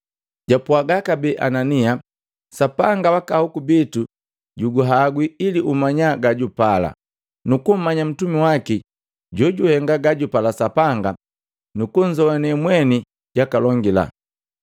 “Japwaga kabee Anania, ‘Sapanga waka ahoku bitu juguhangwi ili umanya gajugapala, nukummanya ntumi waki Jojuhenga gajupala Sapanga nukunzoane mweni jakalongila.’